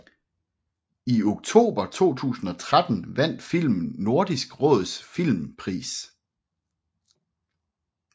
I oktober 2013 vandt filmen Nordisk Råds Filmpris